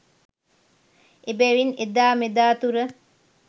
එබැවින් එදා මෙදා තුර